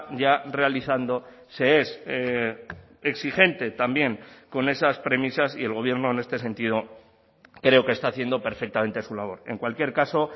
ya realizando se es exigente también con esas premisas y el gobierno en este sentido creo que está haciendo perfectamente su labor en cualquier caso